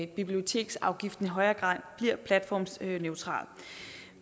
biblioteksafgiften i højere grad bliver platformsneutral